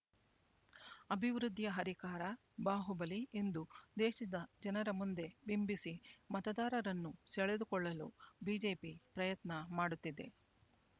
ಅಭಿವೃದ್ಧಿಯ ಹರಿಕಾರ ಬಾಹುಬಲಿ ಎಂದು ದೇಶದ ಜನರ ಮುಂದೆ ಬಿಂಬಿಸಿ ಮತದಾರರನ್ನು ಸೆಳೆದುಕೊಳ್ಳಲು ಬಿಜೆಪಿ ಪ್ರಯತ್ನ ಮಾಡುತ್ತಿದೆ